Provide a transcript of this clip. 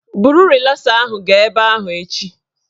Buru rịlasa ahụ gaa ebe ahụ echi